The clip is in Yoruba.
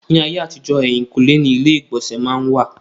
Ní ayé àtijọ́, èhìnkúnlé ni ilé ìgbọ̀nsẹ̀ má n wà.